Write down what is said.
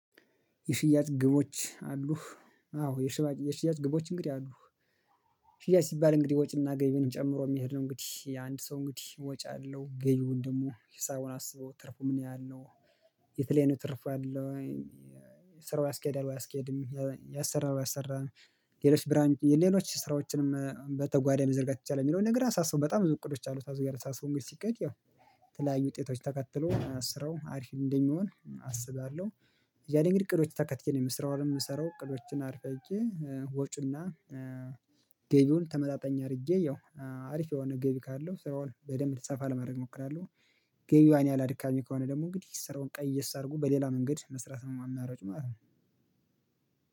የሽያጭ ግቦች አሉ። አዎ የሽያጭ ግቦች እንግዲህ አሉ። አሉ ሽያጭ ሲባል እንግዲህ ወጪና ገቢን ጨምሮ የሚሄድ ነው እንግዲህ የአንድ ሰው እንግዲህ ወጪ አለው ገቢውን ደግሞ ሂሳቡን አስቦ ትርፉ ምን ያህል ነው? የት ላይ ነው ትርፍ ያለው ወይ ስራው አስኬዳለሁ አስኬድም ያሰራል ያሰራል። ሌሎች ብራንጅ ሌሎች ስራዎችንም በተጓደነ መዘርጋት የሚቻለው የሚለውን ነገር አሳስቦ በጣም ብዙ እቅዶች አሉ ታዞ ጋር አሳስቦ እንግዲህ ሲከድ ያው ተለያዩ ውጤቶች ተከትሎ አስረው አሪፍ እንደሚሆን አስባለሁ። ያኔ እንግዲህ እቅዶች ተከትዬ ነው የምስራው አለም የምሰራው እቅዶችን አርፈህ ወጭና ገቢውን ተመጣጣኝ አድርጌ ያው አሪፍ የሆነ ገቢ ካለው ስራውን በደንብ ሰፋ ለማረግ እሞክራለሁ። ገቢዋን ያላድካሚ ከሆነ ደግሞ እንግዲህ ስራውን ቀየስ እየሰርጎ በሌላ መንገድ መስራት ነው አማራጩ ማለት ነው።